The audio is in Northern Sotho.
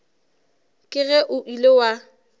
ke ge o ile wa